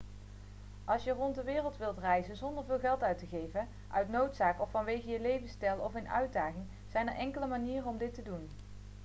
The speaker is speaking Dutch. als je rond de wereld wilt reizen zonder veel geld uit te geven uit noodzaak of vanwege je levensstijl of een uitdaging zijn er enkele manieren om dit te doen